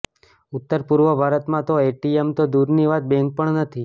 ઉત્તરપૂર્વ ભારતમાં તો એટીએમ તો દૂરની વાત બેન્ક પણ નથી